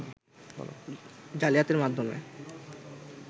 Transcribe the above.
জালিয়াতির মাধ্যমে